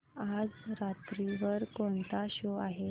आज रात्री वर कोणता शो आहे